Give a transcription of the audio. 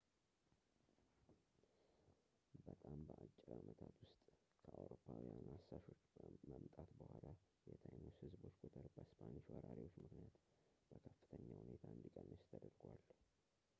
በጣም በአጭር አመታት ውስጥ ከአውሮፓውያን አሳሾች መምጣት በኋላ የtainos ህዝቦች ቁጥር በስፓኒሽ ወራሪዎች ምክንያት በከፍተኛ ሁኔታ እንዲቀንስ ተደርጓል